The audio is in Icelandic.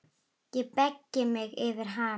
Ég beygi mig yfir hana.